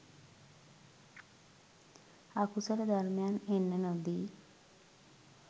අකුසල ධර්මයන් එන්න නොදී